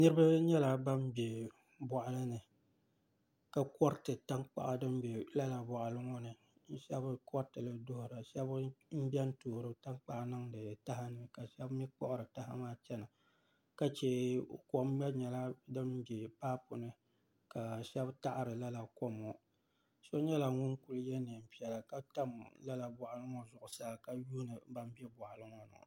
Niraba nyɛla ban bɛ boɣali ka koriti tankpaɣu din bɛ lala boɣali ŋo ni bi shab koriti li duɣura shab n biɛni toori tankpaɣu niŋdi taha ni ka shab mii kpuɣuri taha maa chɛna ka chɛ kom gba nyɛla din bɛ paip ni ka shab taɣari lala kom ŋo so nyɛla ŋun ku yɛ neen piɛla ka tam lala boɣali ŋo zuɣusaa ka yuundi boɣali ŋo ni